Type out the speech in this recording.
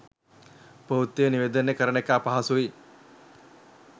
ප්‍රවෘත්ති නිවේදනය කරන එක අපහසුයි.